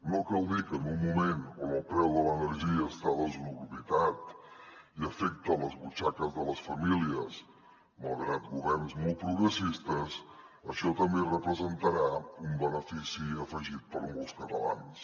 no cal dir que en un moment on el preu de l’energia està desorbitat i afecta les butxaques de les famílies malgrat governs molt progressistes això també representarà un benefici afegit per a molts catalans